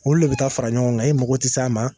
Olu de bɛ taa fara ɲɔgɔn kan , e mago tɛ s'a ma.